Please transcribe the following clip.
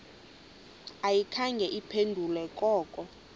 ayikhange iphendule koko